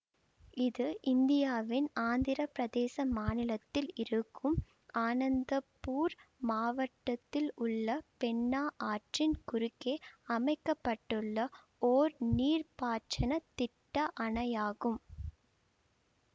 இது இந்தியாவின் ஆந்திரப்பிரதேச மாநிலத்தில் இருக்கும் அனந்தபூர் மாவட்டத்தில் உள்ள பென்னா ஆற்றின் குறுக்காக அமைக்க பட்டுள்ள ஒர் நீர்ப்பாசன திட்ட அணையாகும்